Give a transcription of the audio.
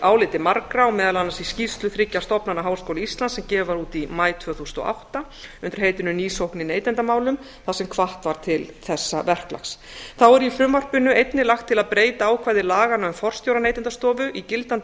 áliti margra og meðal annars í skýrslu þriggja stofnana háskóla íslands sem gefið var út í maí tvö þúsund og átta undir heitinu ný sókn í neytendamálum þar sem hvatt var til þessa verklags þá er í frumvarpinu einnig lagt til að breyta ákvæði laganna um forstjóra neytendastofu í gildandi